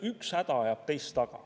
Üks häda ajab teist taga.